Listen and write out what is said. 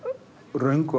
röngu